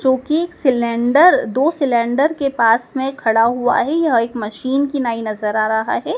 जोकि एक सिलेंडर दो सिलेंडर के पास में खड़ा हुआ है यह एक मशीन की नाई नजर आ रहा है।